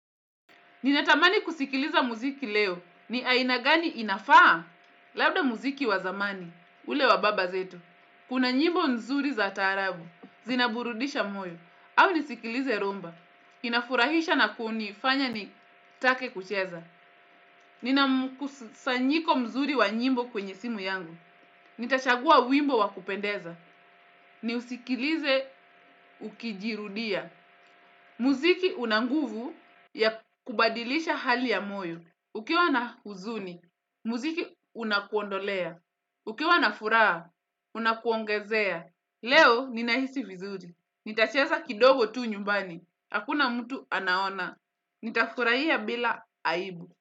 Ninatamani kusikiliza muziki leo ni aina gani inafaa labda muziki wa zamani ule wa baba zetu. Kuna nyimbo nzuri za taarabu, zinaburudisha moyo, au nisikilize rhumba. Inafurahisha na kunifanya nitake kucheza. Ninamkusanyiko mzuri wa nyimbo kwenye simu yangu. Nitachagua wimbo wa kupendeza. Niusikilize ukijirudia. Muziki unanguvu ya kubadilisha hali ya moyo. Ukiwa na huzuni, muziki unakuondolea. Ukiwa na furaha, unakuongezea. Leo ninahisi vizuri. Nitacheza kidogo tu nyumbani. Hakuna mtu anaona. Nitafurahia bila aibu.